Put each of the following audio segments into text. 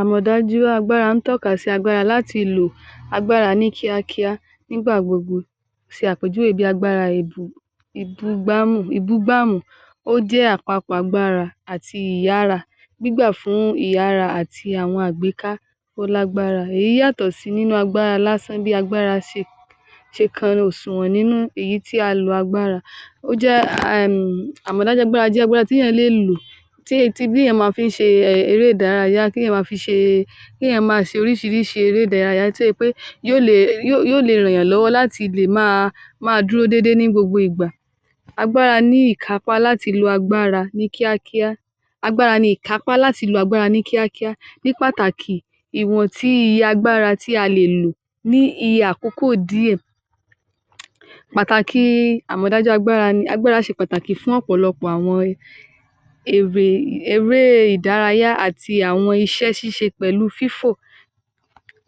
Àmọ̀dájú agbára ń tọ́ka sí agbára láti lò agbára ní kíákíá nígbà gbogbo ṣe àpèjúwe bíi agbára ìbú...ìbugbáàmú, ìbúgbàmú. Ó jẹ́ àpapọ̀ agbára àti ìyára gbígbà fún ìyára àti àwọn àgbéká ó lágbára. Èyí yàtọ̀ sí nínú agbára lásán bí agbára se...se kanra òsùwọ̀n nínú èyí tí a lo agbára. Ó jẹ́ um, àmọ̀dájú agbára jẹ́ agbára tíyàn án lè lò tí e tibí yẹn ma fi ń ṣe um eré ìdárayá, kéèyàn máa fi ṣee...kéèyàn ma ṣe oríṣiríṣi eré ìdárayá tí e pé yó le..yó..yó lee ma rànyàn lọ́wọ́ láti máa máa dúró déédéé ní gbogbo ìgbà. Agbára ní ìkápá láti lo agbára ní kíákíá. Agbára ni ìkápá láti lo agbára ní kíákíá. Ní pàtàkì ìwọ̀n tíi agbára tí a lè lò ní iye àkókò díẹ̀. Pàtàkì àmọ̀dájú agbára ni agbára ṣe pàtàkì fún ọ̀pọ̀lọpọ̀ àwọn ère, eré ìdárayá àti àwọn iṣẹ́ ṣíṣe pẹ̀lú pẹ̀lú fífò.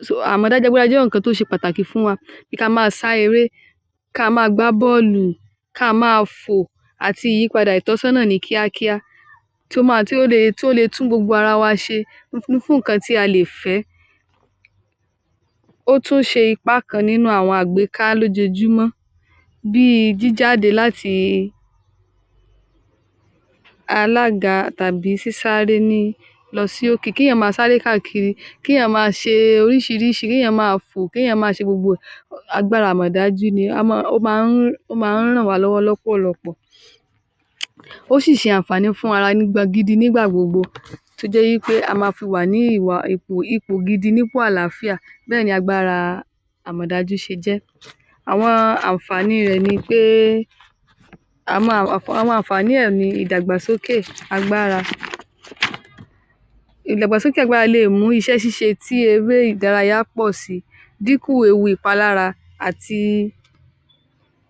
Sóò Àmọ̀dájú agbára jẹ́ ohùnkan tó ṣe pàtàkì fún wa bíi ka máa sá eré, ka máa gbá bọ́ọ̀lù, ka máa fò, àti ìyípadà ìtọ́sọ́nà ní kíákíá tó máa, tí ó le, tí ó le tún gbogbo ara wa ṣe u fú fún nǹkan tí a lè fẹ́. Ó tún ṣe ipá kan nínú àwọn àgbéká lójoojómọ́ bíi jíjáde látii alága tàbí tàbí sísáré ní lọ sí òkè. Kéèyàn ma sáré káàkiri. Kíìyàn má ṣe oríṣiríṣi, kéèyàn máa fò, kéèyàn máa ṣe gbogbo ẹ̀, um agbára àmọ̀dájú ni, a mọ́ ọn, ó má ń, ó má ń ràn wá lọ́wọ́ lọ́pọ̀lọpọ̀. ó sì ṣe ànfààní fún ara nìgbà gidi nígbà gbogbo tó jẹ́ í pé a ma fi wà ní ìwà ìpò ipò gidi nípò àlàáfíà. Bẹ́ẹ̀ni agbára àmọ̀dájú ṣe jẹ́. Àwọn ànfààní rẹ̀ ni péé, a máa, um àwọn ànfààní ẹ̀ ni ìdàgbàsókè agbára. Ìdàgbàsókè agbára le è mú iṣẹ́ ṣíṣe tí eré ìdárayá pọ̀ si, díkù ewu ìpalára, àti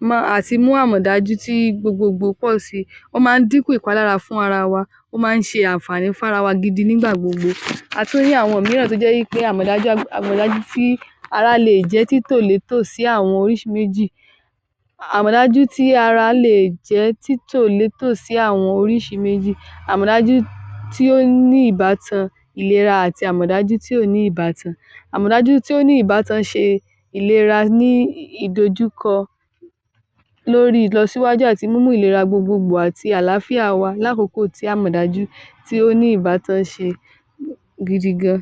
mọ́ ọn, àti mú àmọ̀dájú tí gbogbogbò pọ́ọ̀ si. Ó máa ń dínkù ìpalára fún ara wa, ó máa ń ṣe ànfààní fára wa gidi nígbà gbogbo. a tún rí àwọn mìíràn tó jẹ́ í pé àmọ̀dájú ágb...àmọ̀dájú tíí ará leè jẹ́ títò létò sí àwọn orísi méjì. Àmọ̀dájú tí ará leè jẹ́ títò létò sí àwọn oríṣi méjì. Àmọ̀dájú tí ó ní ìbátan ìlera àti tí ò ní ìbátan. Àmọ̀dájú tí ó ní ìbátan ṣe ìlera nííí ìdojúkọ lórí ìlọsíwájú àti mímú ìlera gbogbogbò àti àlàáfíà wa lákòókò tí àmọ̀dájú tí ó ní ìbátan ṣe um gidi gan-an.